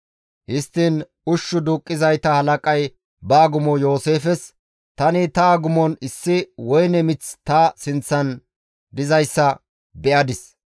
Histtiin ushshu duuqqizayta halaqay ba agumo Yooseefes, «Tani ta agumon issi woyne mith ta sinththan dizayssa be7adis.